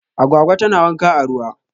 Agwagwa tana wanka a ruwa